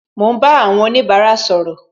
Mo ń bá àwọn onibara sọ̀rọ̀